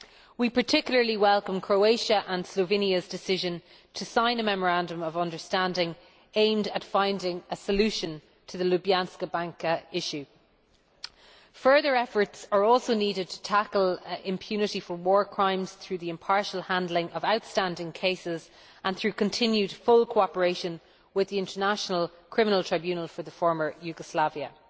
We particularly welcome Croatia's and Slovenia's decision to sign a memorandum of understanding aimed at finding a solution to the Ljubljanska Banka issue. Further efforts are also needed to tackle impunity for war crimes through the impartial handling of outstanding cases and through continued full cooperation with the International Criminal Tribunal for the former Yugoslavia.